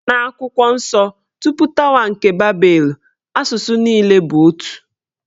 N'akwụkwọ nsọ, tupu tawa nke babelu, asụsụ niile bụ otu.